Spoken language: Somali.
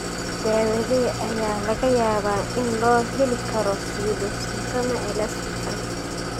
Daawadee ayaa laga yaabaa in loo heli karo pseudoxanthoma elasticum?